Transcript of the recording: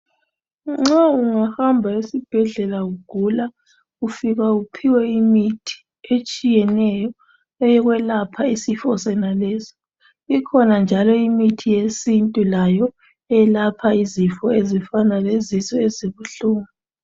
Nxa ungahamba esibhedlela ugula ufika uphiwe imithi etshiyeneyo eyokwelapha isifo sonaleso ikhona njalo imithi yesintu layo eyelapha izifo ezifana lezisu ezibuhlungu.